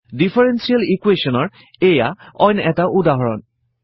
differential equation ৰ এইয়া অইন এটা উদাহৰণ